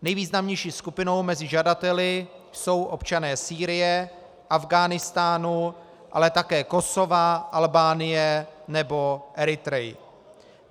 Nejvýznamnější skupinou mezi žadateli jsou občané Sýrie, Afghánistánu, ale také Kosova, Albánie nebo Eritrey.